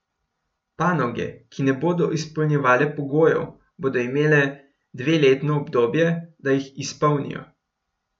Panoge, ki ne bodo izpolnjevale pogojev, bodo imele dveletno obdobje, da jih izpolnijo.